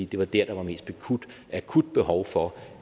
det var dér der var mest akut behov for